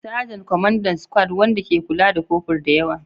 Sajan, Kwamandan squad wanda ke kula da kofur da yawa.